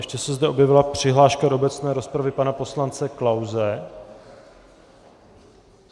Ještě se zde objevila přihláška do obecné rozpravy pana poslance Klause.